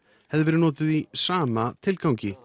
hefði verið notuð í sama tilgangi